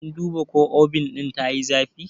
Kin duba ko Obin ɗin tayi zafi?